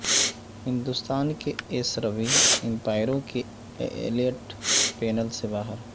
ہندستان کے ایس روی امپائروں کے ایلیٹ پینل سے باہر